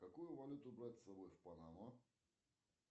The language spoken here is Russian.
какую валюту брать с собой в панаму